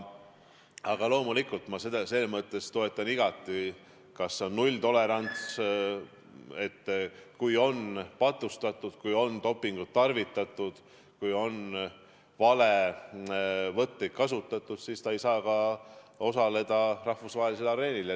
Aga loomulikult ma selles mõttes toetan igati nulltolerantsi, et kui on patustatud, kui on dopingut tarvitatud, kui on valevõtteid kasutatud, siis sportlane ei saa rahvusvahelisel areenil üles astuda.